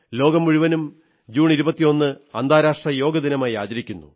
ലോകം മുഴുവനും ജൂൺ 21 അന്താരാഷ്ട്ര യോഗ ദിനമായി ആചരിക്കുന്നു